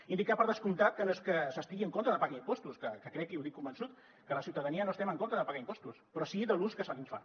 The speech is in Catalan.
indicar per descomptat que no és que s’estigui en contra de pagar impostos que crec i ho dic convençut que la ciutadania no estem en contra de pagar impostos però sí de l’ús que se’n fa